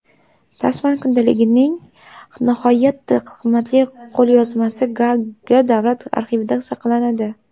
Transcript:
Tasman kundaligining nihoyatda qimmatli qo‘lyozmasi Gaaga davlat arxivida saqlanadi.